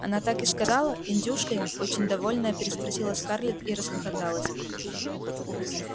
она так и сказала индюшкой очень довольная переспросила скарлетт и расхохоталась